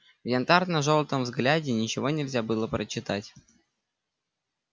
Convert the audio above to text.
в янтарно-желтом взгляде ничего нельзя было прочитать